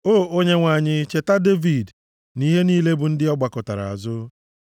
O Onyenwe anyị, cheta Devid, nʼihe niile bụ ndị ọ gbakụtara azụ.